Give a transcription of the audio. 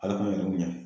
Ala ka yir'u ɲɛ